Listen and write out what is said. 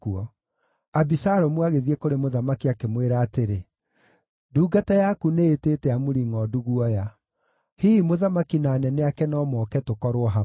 Abisalomu agĩthiĩ kũrĩ mũthamaki, akĩmwĩra atĩrĩ, “Ndungata yaku nĩĩtĩte amuri ngʼondu guoya. Hihi mũthamaki na anene ake no moke tũkorwo hamwe.”